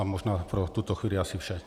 A možná pro tuto chvíli asi vše.